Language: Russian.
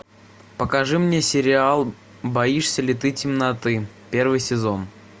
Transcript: покажи мне сериал боишься ли ты темноты первый сезон